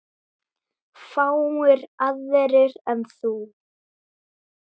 Fáir aðrir en þú.